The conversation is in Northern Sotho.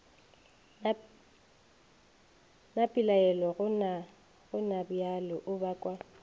na pelaelo gonabjale o bakwa